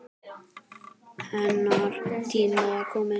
Hennar tími var kominn.